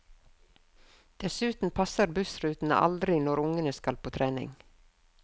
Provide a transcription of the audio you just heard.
Dessuten passer bussrutene aldri når ungene skal på trening.